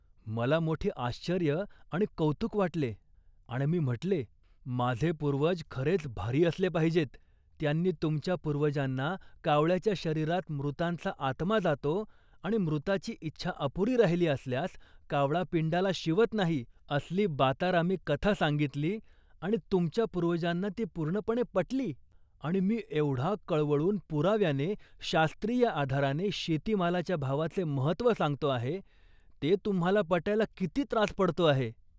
मला मोठे आश्चर्य आणि कौतुक वाटले आणि मी म्हटले, "माझे पूर्वज खरेच भारी असले पाहिजेत. त्यांनी तुमच्या पूर्वजांना कावळ्याच्या शरीरात मृतांचा आत्मा जातो आणि मृताची इच्छा अपुरी राहिली असल्यास कावळा पिंडाला शिवत नाही असली बातारामी कथा सांगितली आणि तुमच्या पूर्वजांना ती पूर्णपणे पटली आणि मी एवढा कळवळून पुराव्याने, शास्त्रीय आधाराने शेतीमालाच्या भावाचे महत्त्व सांगतो आहे ते तुम्हाला पटायला किती त्रास पडतो आहे